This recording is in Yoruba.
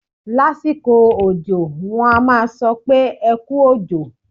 Lásìkò òjọ, wọ́n á sọ pé "ẹ kú òjò".